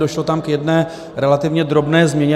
Došlo tam k jedné relativně drobné změně.